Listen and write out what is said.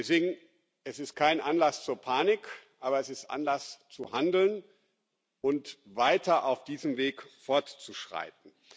Deswegen ist es kein Anlass zur Panik, aber es ist Anlass zu handeln und weiter auf diesem Weg fortzuschreiten.